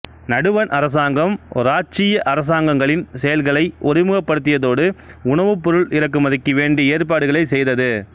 நடுவன் அரசாங்கம் இராச்சிய அரசாங்கங்களின் செயல்களை ஒருமுகப்படுத்தியதோடு உணவுப்பொருள் இறக்குமதிக்கு வேண்டிய ஏற்பாடுகளைச் செய்தது